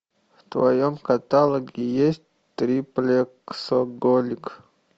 в твоем каталоге есть триплексоголик